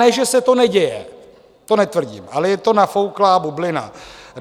Ne že se to neděje, to netvrdím, ale je to nafouklá bublina.